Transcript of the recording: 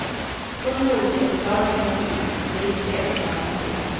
Hundra olika förklaringar kan finnas, men det viktiga är att de gamla får hjälp.